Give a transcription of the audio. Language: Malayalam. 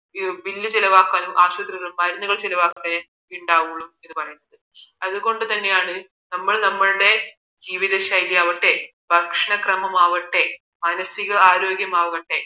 Bill ചിലവാക്കാനും ആശുപത്രിയിലെ മരുന്ന് ചിലവാക്കാനെ ഉണ്ടാവുകയുള്ളൂ അത് കൊണ്ട് തന്നെയാണ് നമ്മൾ നമ്മളുടെ ജീവിതശൈലി ആവട്ടെ ഭക്ഷണക്രമം ആവട്ടെ മാനസികരോഗ്യമാവട്ടെ